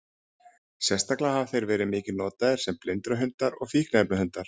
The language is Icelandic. Sérstaklega hafa þeir verið mikið notaðir sem blindrahundar og fíkniefnahundar.